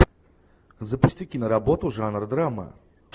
запусти киноработу жанра драма